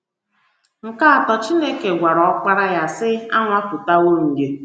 Nke atọ, Chineke gwara Ọkpara ya, sị: “ Anwapụtawo m gị. ”